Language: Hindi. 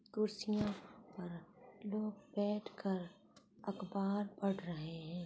कुर्सियाँ पर लोग बैठ कर अख़बार पढ़ रहे हैं।